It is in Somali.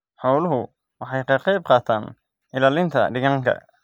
Xooluhu waxay ka qayb qaataan ilaalinta deegaanka.